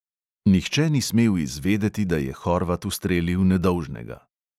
Nihče ni smel izvedeti, da je horvat ustrelil nedolžnega.